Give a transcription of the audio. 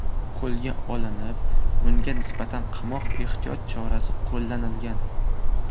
qo‘lga olinib, unga nisbatan qamoq ehtiyot chorasi qo‘llanilgan.